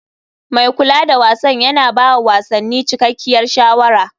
Mai kula da wasan yana ba wa wasanni cikakkiyar shawara.